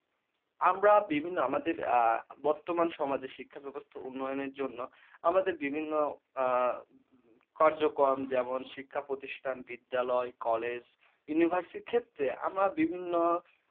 আমরা বিভিন্ন আমাদের আ বর্তমান সমাজে যে শিক্ষা ব্যাবস্থা উন্নয়নের জন্য আমাদের বিভিন্ন আ কার্যক্রম যেমন শিক্ষা প্রতিষ্ঠান, বিদ্যালয়, college, university ক্ষেত্রে আমার বিভিন্ন